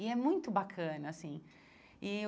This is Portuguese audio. E é muito bacana assim e eu.